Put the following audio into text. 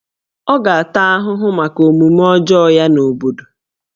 Ọ ga-ata ahụhụ maka omume ọjọọ ya n'obodo